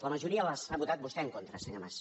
la majoria hi ha votat vostè en contra senyor mas